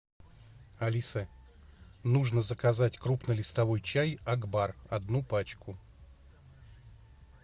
алиса нужно заказать крупнолистовой чай акбар одну пачку